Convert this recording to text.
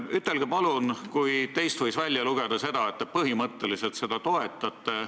Teie sõnadest võis välja lugeda, et te põhimõtteliselt seda toetate.